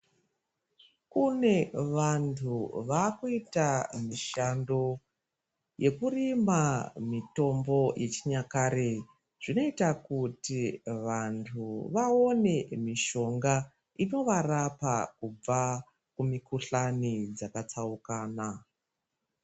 Kunevantu vakuyita mishando yekurima mitombo yechinyakare, zvinoyita kuti vantu vawone mishonga inovarapa kubva kumikhuhlani dzakatsawukana.